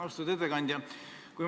Austatud ettekandja!